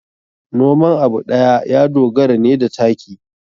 Noman abu ɗaya ya dogara ne da taki.